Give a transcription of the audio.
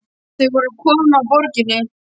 Voru þau að koma af Borginni?